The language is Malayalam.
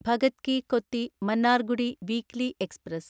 Bhagat ki Kothi Mannargudi weekly express